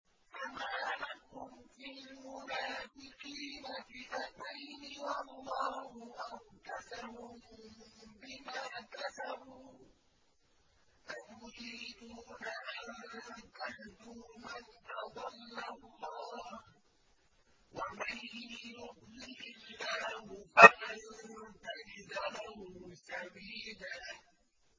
۞ فَمَا لَكُمْ فِي الْمُنَافِقِينَ فِئَتَيْنِ وَاللَّهُ أَرْكَسَهُم بِمَا كَسَبُوا ۚ أَتُرِيدُونَ أَن تَهْدُوا مَنْ أَضَلَّ اللَّهُ ۖ وَمَن يُضْلِلِ اللَّهُ فَلَن تَجِدَ لَهُ سَبِيلًا